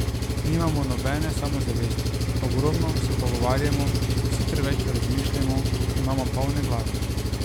Nimamo nobene samozavesti, ogromno se pogovarjamo, vsi preveč razmišljamo, imamo polne glave.